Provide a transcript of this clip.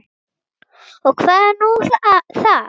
Og hvað er nú það?